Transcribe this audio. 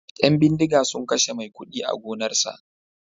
Yan bindiga sun kashe maikudi a gonarsa